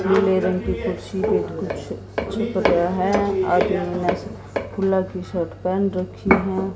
नीले रंग की कुर्सी पे कुछ छिप गया है और खुला टी_शर्ट पैंट रखी हैं।